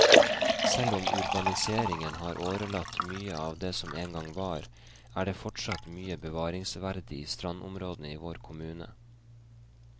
Selv om urbaniseringen har årelatt mye av det som en gang var, er det fortsatt mye bevaringsverdig i strandområdene i vår kommune.